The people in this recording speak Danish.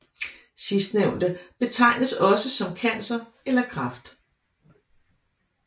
Sidstnævnte betegnes også som cancer eller kræft